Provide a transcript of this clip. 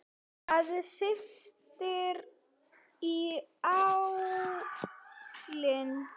Það syrtir í álinn.